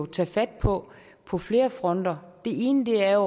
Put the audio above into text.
tage fat på på flere fronter det ene er